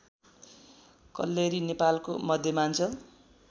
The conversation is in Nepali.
कल्लेरी नेपालको मध्यमाञ्चल